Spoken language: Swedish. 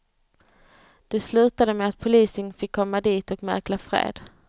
Det slutade med att polisen fick komma dit och mäkla fred.